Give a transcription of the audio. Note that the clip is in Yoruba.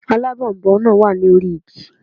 Alábònboǹ náà wà ní orí igi